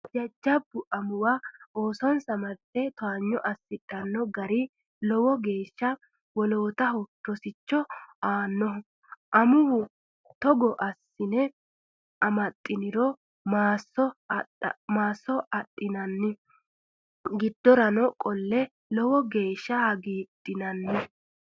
Jajjabba amuwa oosonsa marte towaanyo assidhano gari lowo geeshsha woloottaho rosicho aanoho, amuwa togo assine amaxiniro maasono adhinanni giddora qolleno lowo geeshsha hagiidhinanni.